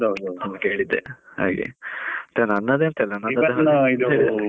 ಹಾಗೆ ಕೇಳಿದ್ದೆ ಹಾಗೆ, ಮತ್ತೆ ನನ್ನದು ಎಂತಾ? .